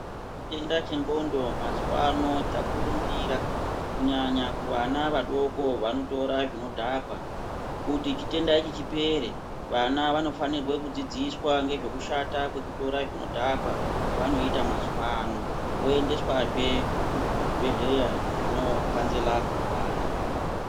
Chirwere chendxondo mazuvao chaurumbira kunyanya vana vadko vaotora zvinodhaka kuti chitenda ichi chipere vana vanofana kudzidziswa kushata kwezvekutora zvinodhaka voendeswa zve kuzvibhedhlera zvinokanzera vana .